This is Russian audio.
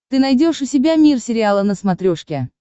ты найдешь у себя мир сериала на смотрешке